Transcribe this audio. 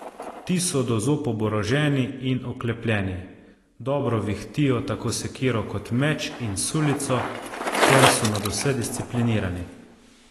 Ti so do zob oboroženi in oklepljeni, dobro vihtijo tako sekiro kot meč in sulico ter so nadvse disciplinirani.